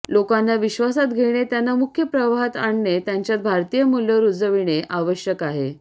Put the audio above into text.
लोकांना विश्वासात घेणे त्यांना मुख्य प्रवाहात आणणे त्यांच्यात भारतीय मूल्य रूजविणे आवश्यक आहे